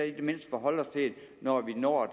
når vi når